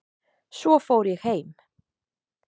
Svo fór ég heim